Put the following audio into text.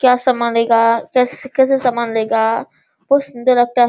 क्या सामान लेगा कैसे कैसे सामान लेगा बहुत सुंदर --